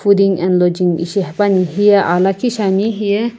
fooding and lodging ishi hepuani hiye aa lakhi shiani hiye.